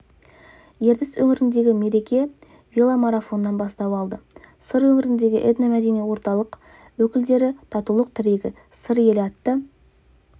ертіс өңіріндегі мереке веломарафоннан бастау алды сыр өңіріндегі этно-мәдени орталық өкілдері татулық тірегі сыр елі атты